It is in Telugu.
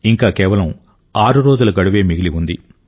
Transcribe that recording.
ఇంకా కేవలం ఆరు రోజుల గడువే మిగిలి ఉంది